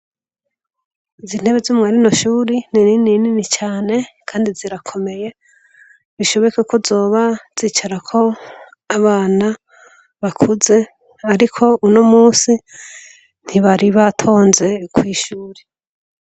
Izi ntebe zo mu yandi mashure ni nini nini cane kandi zirakomeye, bishoboka ko zoba zicarako abana bakuze ariko uno musi ntibari batonze kw'ishure.